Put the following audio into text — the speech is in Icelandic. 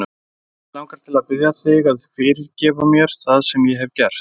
Mig langar til að biðja þig að fyrirgefa mér það sem ég hef gert.